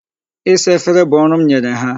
Isa efere bụ ọrụ m nyere ha.